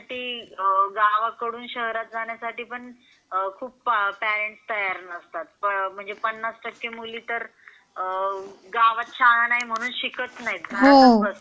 आणि मुलींना शिक्षणासाठी गावाकडून शहरात जाण्यासाठी पण खूप पेरेंट्स तयार नसतात. म्हणजे पन्नास टक्के मुली तर गावात शाळा नाही म्हणू शकत नाही.